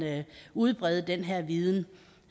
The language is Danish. udbrede den her viden